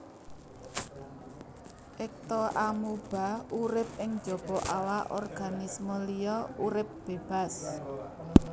Ektoamuba urip ing jaba awak organisme liya urip bébas